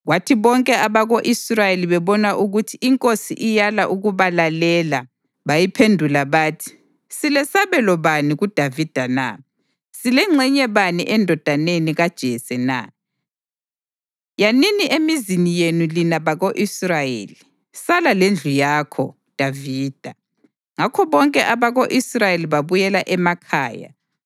Kwathi bonke abako-Israyeli bebona ukuthi inkosi iyala ukubalalela bayiphendula bathi: “Silesabelo bani kuDavida na, silengxenye bani endodaneni kaJese na? Yanini emizini yenu lina bako-Israyeli! Sala lendlu yakho, Davida!” Ngakho bonke abako-Israyeli babuyela emakhaya.